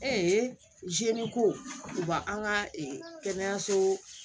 ko u ba an ka kɛnɛyaso